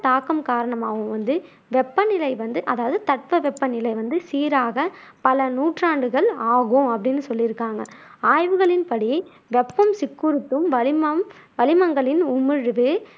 தாக்கம் காரணமாகவும் வந்து வெப்பநிலை வந்து அதாவது தட்பவெப்ப நிலை வந்து சீராக பல நூற்றாண்டுகள் ஆகும் அப்படின்னு சொல்லியிருக்காங்க. ஆய்வுகளின் படி வெப்பம் சிக்குறுத்தும் வளிமம் வளிமங்களின் உமிழ்வு